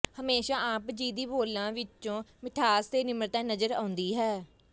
ਹਮੇਸ਼ਾ ਆਪ ਜੀ ਦੇ ਬੋਲਾਂ ਵਿਚੋਂ ਮਿਠਾਸ ਤੇ ਨਿਮਰਤਾ ਨਜ਼ਰ ਆਉਂਦੀ ਹੈ